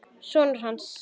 Sonur hans!